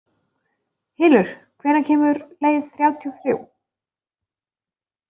Hylur, hvenær kemur leið þrjátíu og þrjú?